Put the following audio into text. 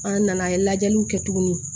An nana an ye lajɛliw kɛ tuguni